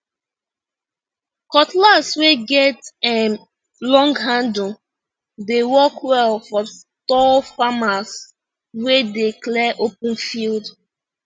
cutlass wey get um long handle dey work well for tall farmers wey dey clear open field